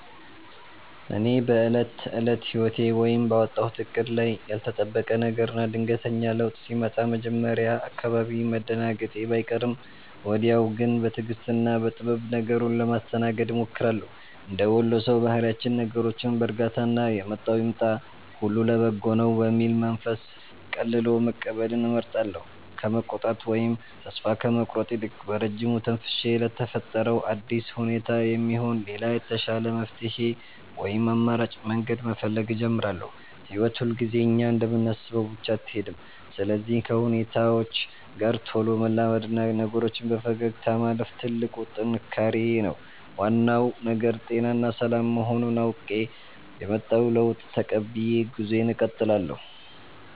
እኔ በዕለት ተዕለት ሕይወቴ ወይም ባወጣሁት ዕቅድ ላይ ያልተጠበቀ ነገርና ድንገተኛ ለውጥ ሲመጣ መጀመሪያ አካባቢ መደናገጤ ባይቀርም፣ ወዲያው ግን በትዕግሥትና በጥበብ ነገሩን ለማስተናገድ እሞክራለሁ። እንደ ወሎ ሰው ባህሪያችን ነገሮችን በዕርጋታና «የመጣው ይምጣ፣ ሁሉ ለበጎ ነው» በሚል መንፈስ ቀልሎ መቀበልን እመርጣለሁ። ከመቆጣት ወይም ተስፋ ከመቁረጥ ይልቅ፣ በረጅሙ ተንፍሼ ለተፈጠረው አዲስ ሁኔታ የሚሆን ሌላ የተሻለ መፍትሔ ወይም አማራጭ መንገድ መፈለግ እጀምራለሁ። ሕይወት ሁልጊዜ እኛ እንደምናስበው ብቻ አትሄድም፤ ስለዚህ ከሁኔታዎች ጋር ቶሎ መላመድና ነገሮችን በፈገግታ ማለፍ ትልቁ ጥንካሬዬ ነው። ዋናው ነገር ጤናና ሰላም መሆኑን አውቄ፣ የመጣውን ለውጥ ተቀብዬ ጉዞዬን እቀጥላለሁ።